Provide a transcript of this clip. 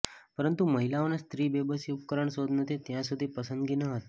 પરંતુ મહિલાઓને સ્ત્રી બેબસી ઉપકરણ શોધ નથી ત્યાં સુધી પસંદગી ન હતી